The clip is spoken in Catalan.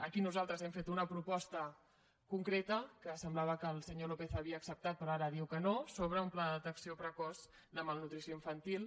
aquí nosaltres hem fet una proposta concreta que semblava que el senyor lópez havia acceptat però ara diu que no sobre un pla de detecció precoç de malnutrició infantil